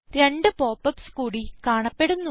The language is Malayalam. രണ്ട് pop യുപിഎസ് കൂടി കാണപ്പെടുന്നു